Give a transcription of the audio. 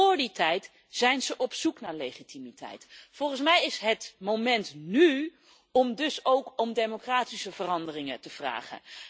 Vóór die tijd zijn ze op zoek naar legitimiteit. Volgens mij is het nu het moment om ook om democratische veranderingen te vragen.